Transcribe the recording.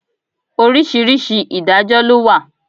Oríṣiríṣi Ìdájọ́ lọ wà.